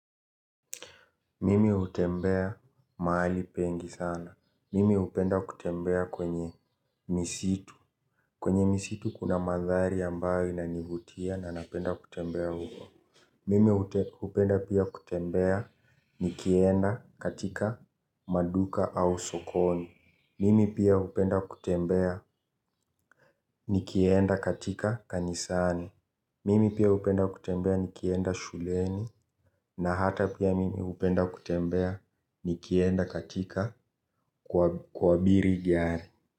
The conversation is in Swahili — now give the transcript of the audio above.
Mimi utembea mahali pengi sana. Mimi upenda kutembea kwenye misitu. Kwenye misitu kuna mandhari ambayo inanivutia na napenda kutembea huko. Mimi upenda pia kutembea nikienda katika maduka au sokoni. Mimi pia upenda kutembea nikienda katika kanisani. Mimi pia upenda kutembea nikienda shuleni na hata pia mimi upenda kutembea nikienda katika kuabiri gari.